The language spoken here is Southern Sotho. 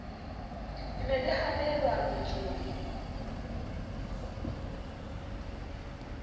le ne le hanella mmetsong